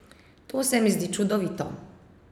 To se mi zdi čudovito.